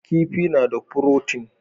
Kifi na da furotin